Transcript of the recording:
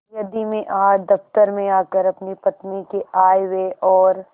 यदि मैं आज दफ्तर में आकर अपनी पत्नी के आयव्यय और